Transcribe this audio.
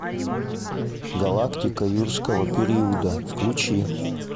галактика юрского периода включи